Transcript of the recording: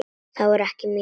Það voru ekki mín orð.